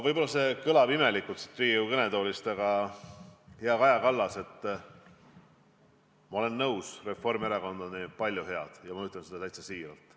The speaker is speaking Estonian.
Võib-olla see kõlab siit Riigikogu kõnetoolist imelikult, aga, hea Kaja Kallas, ma olen nõus, et Reformierakond on teinud palju head, ja ma ütlen seda täitsa siiralt.